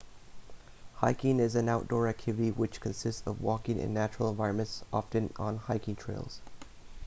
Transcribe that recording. hiking is an outdoor activity which consists of walking in natural environments often on hiking trails